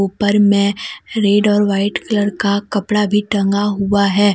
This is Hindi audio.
ऊपर में रेड और वाइट कलर का कपड़ा भी टांगा हुआ है।